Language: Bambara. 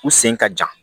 U sen ka jan